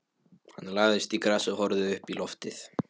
Hann lagðist í grasið og horfði uppí loftið.